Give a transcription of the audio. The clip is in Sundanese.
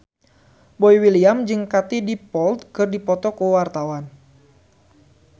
Boy William jeung Katie Dippold keur dipoto ku wartawan